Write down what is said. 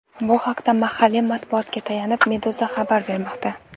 Bu haqda, mahalliy matbuotga tayanib, Meduza xabar bermoqda .